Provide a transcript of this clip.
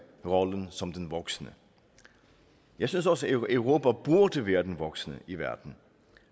rollen som den voksne jeg synes også europa burde være den voksne i verden